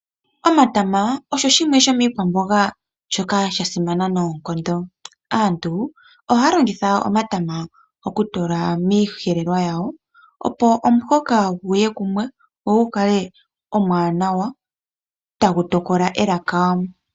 Omatama osho shimwe sho miikwamboga shoka sha simana noonkondo. Aantu ohaa longitha omatama oku tula miiyelelwa yawo, opo omuhoka guye kumwe ,go gu kale omwaanawa, tagu tokola elaka.